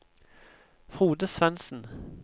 Frode Svensen